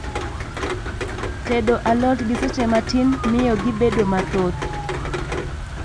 Tedo alot gi seche matin mio gibedo mathoth